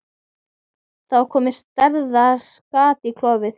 Það var komið stærðar gat í gólfið.